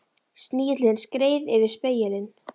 Snigillinn skreið yfir spegilinn.